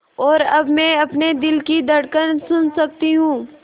और अब मैं अपने दिल की धड़कन सुन सकती हूँ